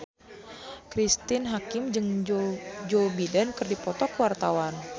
Cristine Hakim jeung Joe Biden keur dipoto ku wartawan